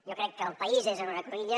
jo crec que el país és en una cruïlla